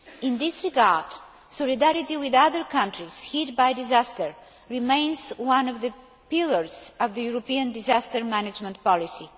In this regard, solidarity with other countries hit by disaster remains one of the pillars of the European disaster management policy.